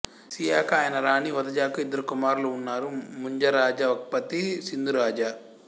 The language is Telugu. సియాకా ఆయన రాణి వదజాకు ఇద్దరు కుమారులు ఉన్నారు ముంజారాజా వక్పతి సింధురాజా